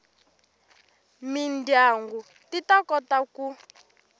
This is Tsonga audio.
mindyangu ti ta kota ku